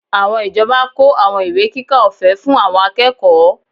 Àwọn ìjọba kó àwọn ìwé kíkà ọ̀fẹ́ fún àwọn akẹ́kọ̀ọ́